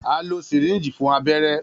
A lo Syringe fun abẹrẹ.